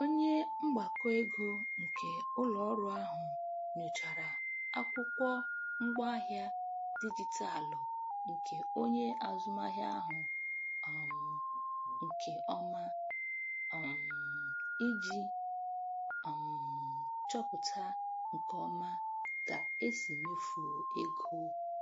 Onye mgbakọego nke ụlọọrụ ahụ nyochara akwụkwọ ngwaahịa dijitalụ nke onye azụmahịa ahụ um nke ọma um iji um chọpụta nke ọma ka e si mefuo ego.